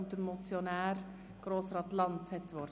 Der Motionär, Grossrat Lanz, hat das Wort.